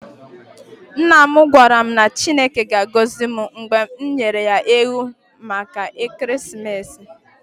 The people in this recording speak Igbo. Nna m gwara m na Chineke ga-agọzi m mgbe m nyere ya ewu maka ekeresimesi.